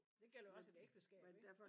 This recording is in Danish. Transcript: Det gælder også et ægteskab ikke